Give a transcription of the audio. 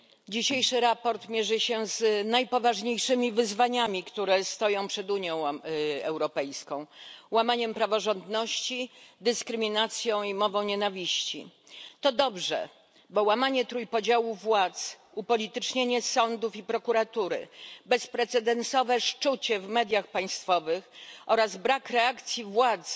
Dzisiejsze sprawozdanie mierzy się z najpoważniejszymi wyzwaniami, które stoją przed Unią Europejską łamaniem praworządności, dyskryminacją i mową nienawiści. To dobrze, bo łamanie trójpodziału władz, upolitycznienie sądów i prokuratury, bezprecedensowe szczucie w mediach państwowych oraz brak reakcji władz